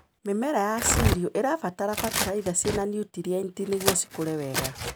Mĩmera ya cirio ĩbataraga bataraitha cĩna nũtrienti nĩguo cikũre wega.